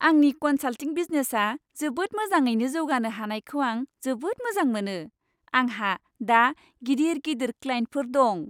आंनि कन्सालटिं बिजनेसआ जोबोद मोजाङैनो जौगानो हानायखौ आं जोबोद मोजां मोनो, आंहा दा गिदिर गिदिर क्लाइन्टफोर दं।